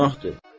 Günahdır.